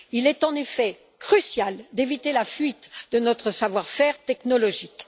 Il est en effet crucial d'éviter la fuite de notre savoir faire technologique.